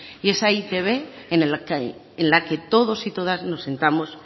y esa e i te be en la que todos y todas nos sintamos